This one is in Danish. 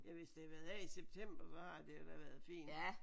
Ja hvis det har været her i september så har det da været fint